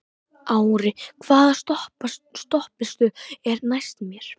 Ári, hvaða stoppistöð er næst mér?